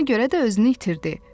Buna görə də özünü itirdi.